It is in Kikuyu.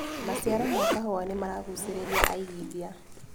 Maciaro ma kahũa nĩmaragucĩrĩria aigithia.